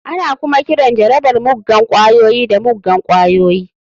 Ana kuma kiran jarabar muggan ƙwayoyi da muggan ƙwayoyi.